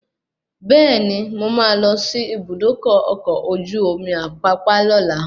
Bẹẹni, mo máa lọ sí Ibùdókọ̀ ọkọ̀ ojú omi Apapa lóla